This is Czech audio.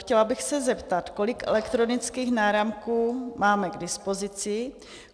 Chtěla bych se zeptat, kolik elektronických náramků máme k dispozici.